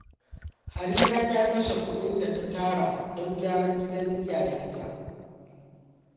Harira ta kashe kudin da ta tara don gyaran gidan iyayenta.